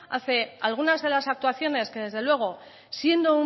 hace algunas de las actuaciones que desde luego siendo